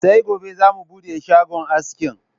Sai gobe za mu buɗe shagon aski